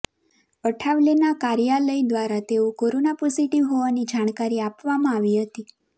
અઠાવલેના કાર્યાલય દ્વારા તેઓ કોરોના પોઝિટિવ હોવાની જાણકારી આપવામાં આવી હતી